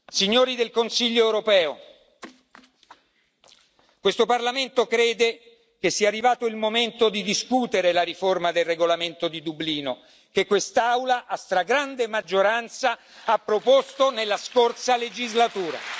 Signori del Consiglio europeo, questo Parlamento crede che sia arrivato il momento di discutere la riforma del regolamento di Dublino, che quest'Aula a stragrande maggioranza ha proposto nella scorsa legislatura.